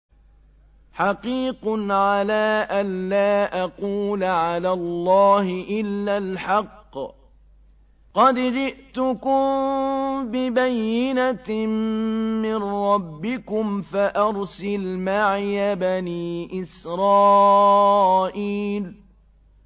حَقِيقٌ عَلَىٰ أَن لَّا أَقُولَ عَلَى اللَّهِ إِلَّا الْحَقَّ ۚ قَدْ جِئْتُكُم بِبَيِّنَةٍ مِّن رَّبِّكُمْ فَأَرْسِلْ مَعِيَ بَنِي إِسْرَائِيلَ